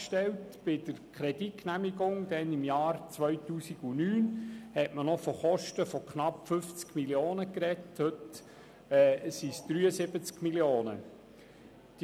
Bei der Kreditgenehmigung im Jahr 2009 sprach man noch von Kosten von knapp 50 Mio. Franken, heute sind es 73 Mio. Franken.